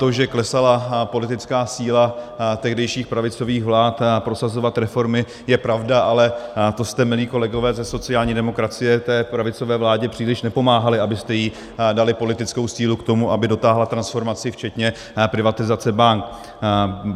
To, že klesala politická síla tehdejších pravicových vlád prosazovat reformy, je pravda, ale to jste, milí kolegové ze sociální demokracie, té pravicové vládě příliš nepomáhali, abyste jí dali politickou sílu k tomu, aby dotáhla transformaci včetně privatizace bank.